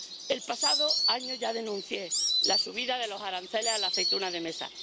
El pasado año ya denuncié la subida de los aranceles a la aceituna de mesa.